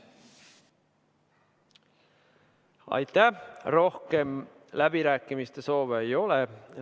Rohkem läbirääkimiste soove ei ole.